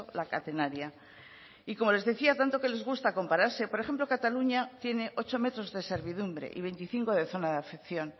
la catenaria y como les decía tanto que les gusta compararse por ejemplo cataluña tiene ocho metros de servidumbre y veinticinco de zona de afección